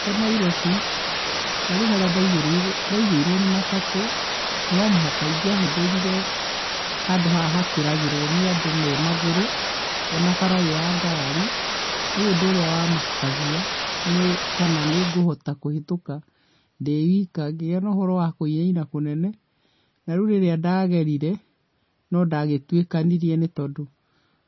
Ndĩ Nairobi, na rĩu harĩa ndaigĩrĩirwo, ndaigĩirwo nĩ matatũ, no mũhaka ingĩahũthĩrire handũ haha hakĩragĩrwo nĩ andũ me magũrũ o na bara ĩ ya ngari, rĩũ ũndũ ũrĩa wamakagia nĩ kana nĩ ngũhota kũhĩtuka ndĩ ika, ngĩgĩa na ũhoro wa kwĩira kũnene, na rĩu rĩrĩa ndagerire, no ndagĩtwĩkanĩririe nĩ tondũ